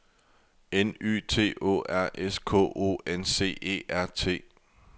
N Y T Å R S K O N C E R T